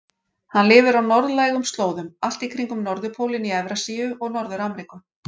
Hann lifir á norðlægum slóðum allt í kringum norðurpólinn í Evrasíu og Norður-Ameríku.